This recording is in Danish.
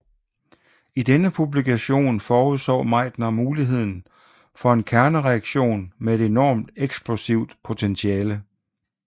I denne publikation forudså Meitner muligheden for en kernereaktion med et enormt eksplosivt potentiale